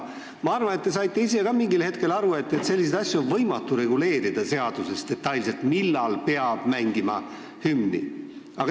Ma arvan, et te saite ise ka mingil hetkel aru, et on võimatu reguleerida seaduses detailselt selliseid asju, millal peab mängima hümni.